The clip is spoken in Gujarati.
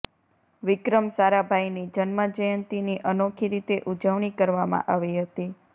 વિક્રમ સારાભાઇની જન્મ જયંતીની અનોખી રીતે ઉજવણી કરવામાં આવી હતી